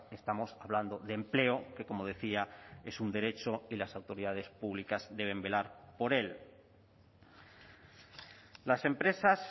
estamos hablando de empleo que como decía es un derecho y las autoridades públicas deben velar por él las empresas